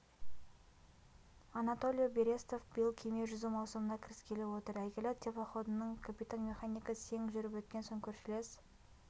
анатолий берестов биыл кеме жүзу маусымына кіріскелі отыр әйгілі теплоходының капитан-механигі сең жүріп өткен соң көршілес